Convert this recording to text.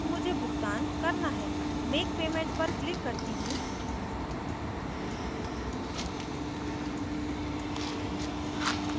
अब मुझे भुगतान करना है make payment पर कलक करती हूँ